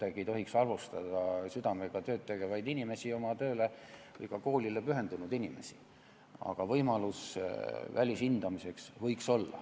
Ei tohiks halvustada südamega tööd tegevaid inimesi, oma tööle ja koolile pühendunud inimesi, aga välishindamise võimalus võiks olla.